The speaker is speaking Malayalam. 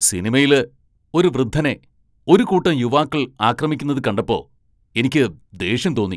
സിനിമയില് ഒരു വൃദ്ധനെ ഒരു കൂട്ടം യുവാക്കൾ ആക്രമിക്കുന്നത് കണ്ടപ്പോ എനിക്ക് ദേഷ്യം തോന്നി.